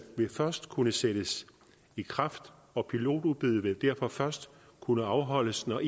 først kunne sættes i kraft og pilotudbuddet vil derfor først kunne afholdes når